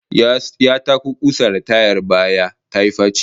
Ya tako kusa da tayar baya tayi faci